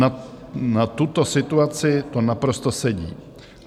Na tuto situaci to naprosto sedí.